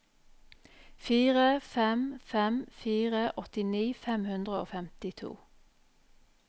fire fem fem fire åttini fem hundre og femtito